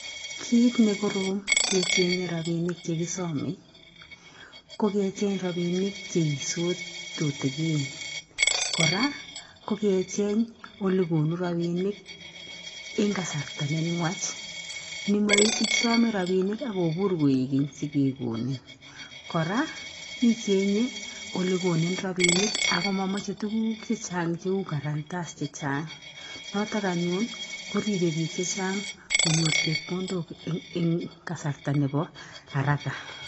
Kiit nekorom kechengee rabinik chekisome ko kecheng robininik cheisut tutukin kora kokecheng ole konu rabinik ing kasarta nenwach nemaisome rabinik akokur koekeny sikekonin kora ichenge ole konin robinik ako mamache tuguk chechang cheu guaranters chechang notok anyun koribe piik chechang konyor chepkondok ing kasarta nebo araka